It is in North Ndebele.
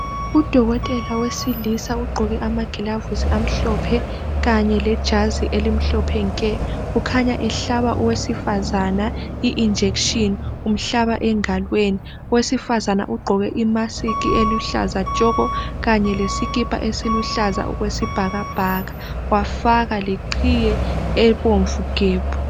Udokotela wesilisa ugqoke amagilovisi kanye lejazi elimhlophe nke ukhanya ehlaba owesifazane ijekiseni umhlaba engalweni. Owesifazane ugqoke imask eluhlaza tshoko kanye lesikipa siluhlaza okwesibhakabhaka wafaka leqhiye ebomvu gebhu.